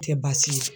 Tɛ baasi ye